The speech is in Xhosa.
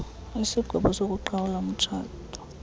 isigwebo sokuqhawula umtshato